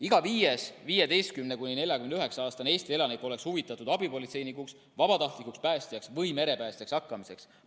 Iga viies 15–49‑aastane Eesti elanik oleks huvitatud abipolitseinikuks, vabatahtlikuks päästjaks või merepäästjaks hakkamisest.